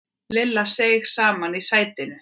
Lilla seig saman í sætinu.